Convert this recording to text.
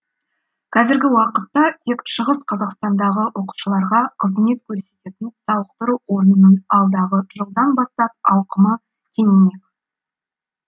қазіргі уақытта тек шығыс қазақстандағы оқушыларға қызмет көрсететін сауықтыру орнының алдағы жылдан бастап ауқымы кеңеймек